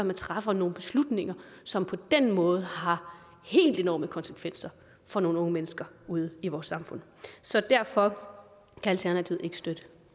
man træffer nogle beslutninger som på den måde har helt enorme konsekvenser for nogle unge mennesker ude i vores samfund så derfor kan alternativet ikke støtte